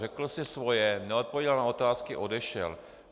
Řekl si svoje, neodpověděl na otázky, odešel.